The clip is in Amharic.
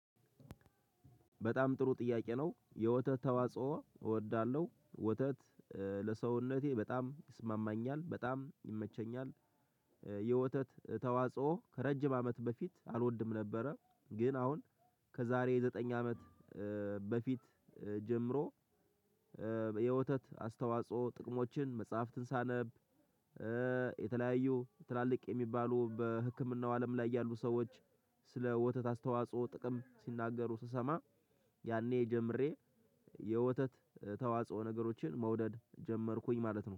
በጣም ጥሩ ጥያቄ ነው። የወተት ተዋጽኦ እወዳለሁ። ወተት ለሰውነቴ በጣም ይስማማኛል። በጣም ይመቸኛል። የወተት ተዋጽኦ ከረጅም አመት በፊት አልወድም ነበረ። ግን አሁን ከዛሬ ዘጠኝ አመት በፊት ጀምሮ የወተት አስተዋጽኦ ጥቅሞችን መጽሐፍትን ሳነብ የተለያዩ ትላልቅ የሚባሉ በህክምናው አለም ላይ ያሉ ሰዎች ስለ ወተት አስተዋጽኦ ጥቅም ሲናገሩ ስሰማ ያኔ ጀምሬ የወተት ተዋጽኦ ነገሮችን መውደድ ጀመርኩኝ ማለት ነው።